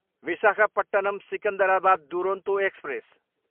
Visakhapatnam, Secunderabad Duronto express